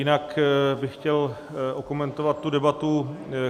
Jinak bych chtěl okomentovat tu debatu.